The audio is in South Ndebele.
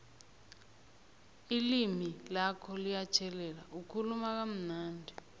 ilimi lakho liyatjhelela ukhuluma kamnandi